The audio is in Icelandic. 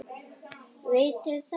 Veit þið þekkið þetta.